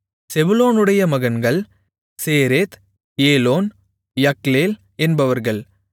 செபுலோனுடைய மகன்கள் Sered Elon Jahleel என்பவர்கள்